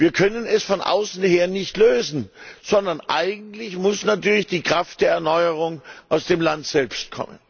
Wir können es von außen her nicht lösen, sondern eigentlich muss natürlich die Kraft der Erneuerung aus dem Land selbst kommen.